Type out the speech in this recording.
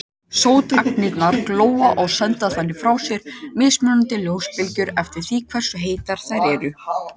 Sótagnirnar glóa og senda þannig frá sér mismunandi ljósbylgjur eftir því hversu heitar þær eru.